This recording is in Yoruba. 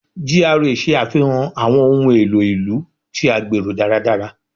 GRA ṣe afihan awọn ohun elo ilu ti a gbero daradara